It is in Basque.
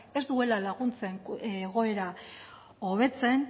ez duela laguntzen egoera hobetzen